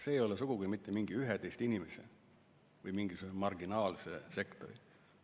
See ei ole sugugi mitte mingi 11 inimese või mingisuguse marginaalse sektori.